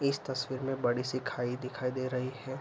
इस तस्वीर में बड़ी-सी खाई दिखाई दे रही है।